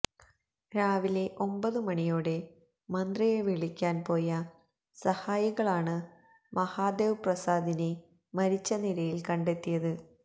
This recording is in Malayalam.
രാവിലെ ഒമ്പത് മണിയോടെ മന്ത്രിയെ വിളിക്കാന് പോയ സഹായികളാണ് മഹാദേവ് പ്രസാദിനെ മരിച്ച നിലയില് കണ്ടെത്തിയത്